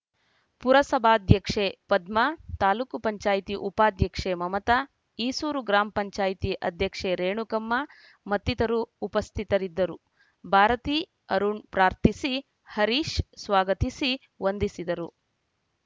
ಪುರಸಭಾಧ್ಯಕ್ಷೆ ಪದ್ಮಾ ತಾಲೂಕ್ ಪಂಚಾಯತಿ ಉಪಾಧ್ಯಕ್ಷೆ ಮಮತಾ ಈಸೂರು ಗ್ರಾಮ ಪಂಚಾಯತಿ ಅಧ್ಯಕ್ಷೆ ರೇಣುಕಮ್ಮ ಮತ್ತಿತರರು ಉಪಸ್ಥಿತರಿದ್ದರು ಭಾರತಿ ಅರುಣ್‌ ಪ್ರಾರ್ಥಿಸಿ ಹರೀಶ್‌ ಸ್ವಾಗತಿಸಿ ವಂದಿಸಿದರು